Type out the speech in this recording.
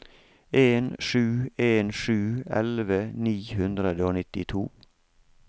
en sju en sju elleve ni hundre og nittito